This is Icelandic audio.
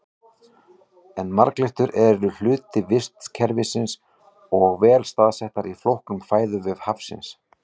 En marglyttur eru hluti vistkerfisins og vel staðsettar í flóknum fæðuvef hafsins.